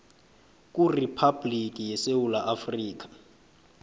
kuriphabhligi yesewula afrika